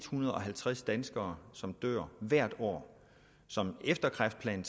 hundrede og halvtreds danskere som dør hvert år som efter kræftplan